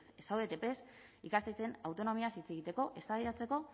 ez zaudete prest ikastetxeen autonomiaz hitz egiteko eztabaidatzeko